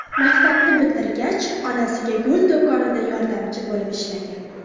Maktabni bitirgach onasiga gul do‘konida yordamchi bo‘lib ishlagan.